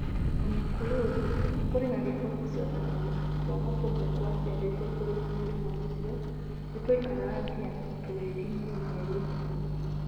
O na kũrĩ ũguo, kũrĩ na riboti cionanagia atĩ twana tũmwe twaciarĩtwo tũrĩ na mũrimũ ũcio nĩ twaikaraga nginya tũgĩkinyie mĩeri ĩtano.